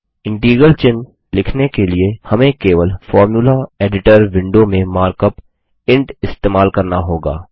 integral चिन्ह लिखने के लिए हमें केवल फॉर्मुला एडिटर विंडो में मार्कअप इंट इस्तेमाल करना होगा